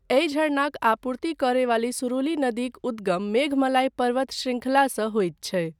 एहि झरनाक आपूर्ति करयवाली सुरुली नदीक उद्गम मेघमलाई पर्वत शृंखलासँ होइत छै।